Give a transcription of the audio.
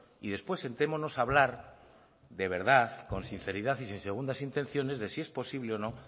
y después sentémonos a hablar de verdad con sinceridad y sin segundas intenciones de si es posible o no